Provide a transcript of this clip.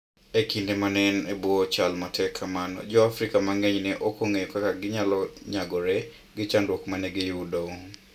E kinde ma ne en e bwo chal matek kamano, Jo - Afrika mang'eny ne ok ong'eyo kaka ne ginyalo nyagore gi chandruok ma ne giyudo.